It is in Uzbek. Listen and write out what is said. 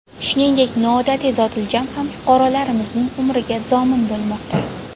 Shuningdek, noodatiy zotiljam ham fuqarolarimizning umriga zomin bo‘lmoqda.